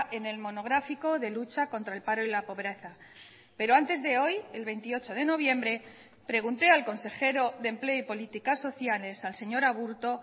en el monográfico de lucha contra el paro y la pobreza pero antes de hoy el veintiocho de noviembre pregunté al consejero de empleo y políticas sociales al señor aburto